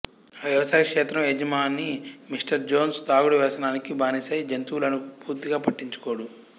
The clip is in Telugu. ఆ వ్యవసాయ క్షేత్రం యజమాని మిస్టర్ జోన్స్ తాగుడు వ్యసనానికి బానిసై జంతువులను పూర్తిగా పట్టించుకోడు